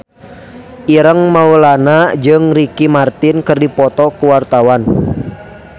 Ireng Maulana jeung Ricky Martin keur dipoto ku wartawan